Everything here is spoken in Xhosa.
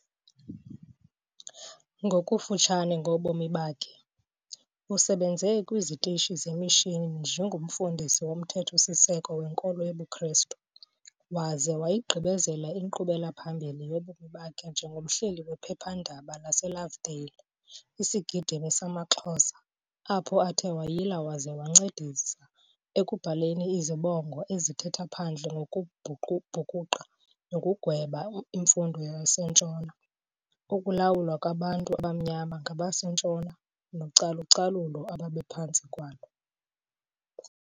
Ngokufutshane ngobomi bakhe, usebenze kwiizitishi zemishini njengomfundisi womthetho-siseko wenkolo yobuKhrestu, waze wayigqibezela inkqubela-phambili yobomi bakhe njengomhleli wephepha-ndaba laseLovedale, Isigidimi samaXhosa, apho athe wayila waze wancedisa ekubhaleni izibongo ezithetha phandle ngokubhukuqa nokugweba imfundo yaseNtshona, ukulawulwa kwabantu abamnyama ngabaseNtshona nocalu-calulo ababephantsi kwalo.